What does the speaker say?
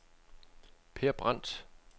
Per Brandt